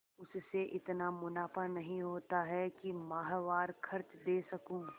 उससे इतना मुनाफा नहीं होता है कि माहवार खर्च दे सकूँ